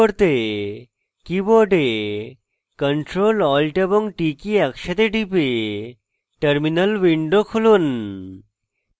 keyboard ctrl alt এবং t একসাথে টিপে terminal window খুলুন